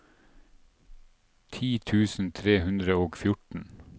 ti tusen tre hundre og fjorten